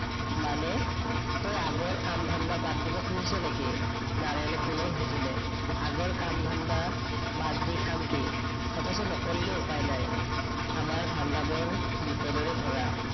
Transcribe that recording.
মানে? তই আগৰ কাম ধান্দা বাদ দিব খুজিছ নেকি? নাৰায়নে পোনৰ সুধিলে। আগৰ কাম ধান্দা, বাদ দি খাম কি? অথচ নকৰিলেও উপাই নাই। আমাৰ ধান্দাবোৰ বিপদৰে ভৰা